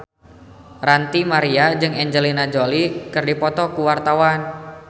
Ranty Maria jeung Angelina Jolie keur dipoto ku wartawan